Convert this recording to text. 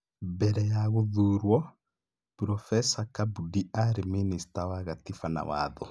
Mbere ya gũthuurwo, Burobeca Kabudi aarĩ Mĩnĩcita wa Gatiba na Watho.